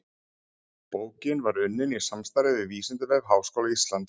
Bókin var unnin í samstarfi við Vísindavef Háskóla Íslands.